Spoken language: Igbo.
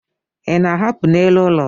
Ị na-ahapụ n'elu ụlọ?